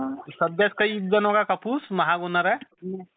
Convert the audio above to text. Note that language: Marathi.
सध्या कापूस महाग होणाराय.